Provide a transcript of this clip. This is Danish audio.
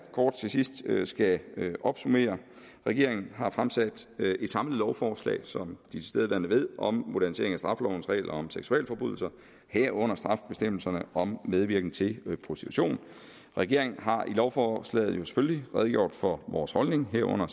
kort til sidst skal opsummere regeringen har fremsat et samlet lovforslag som tilstedeværende ved om modernisering af straffelovens regler om seksualforbrydelser herunder strafbestemmelserne om medvirken til prostitution regeringen har i lovforslaget jo selvfølgelig redegjort for vores holdning herunder